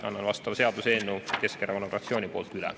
Annan vastava seaduseelnõu Keskerakonna fraktsiooni nimel üle.